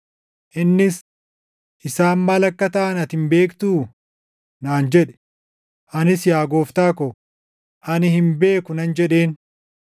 Innis, “Isaan maal akka taʼan ati hin beektuu?” naan jedhe. Anis, “Yaa gooftaa ko, ani hin beeku” nan jedheen.